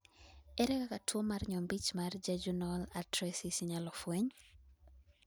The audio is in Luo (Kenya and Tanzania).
ere kaka tuo mar nyombich mar jejunal atresis inyalo fweny?